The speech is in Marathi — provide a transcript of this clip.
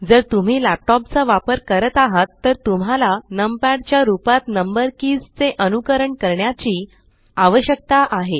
जर तुम्ही लॅपटॉप चा वापर करत आहात तर तुम्हाला नम पॅड च्या रूपात नंबर कीज़ चे अनुकरण करण्याची आवश्यकता आहे